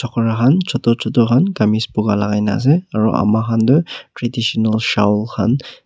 chutu chutu khan kamis buka lagai nah ase aru ama khan tu traditional shawl khan --